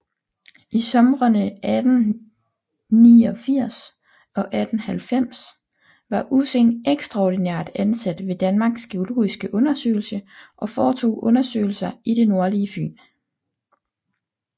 I somrene 1889 og 1890 var Ussing ekstraordinært ansat ved Danmarks geologiske Undersøgelse og foretog undersøgelser i det nordlige Fyn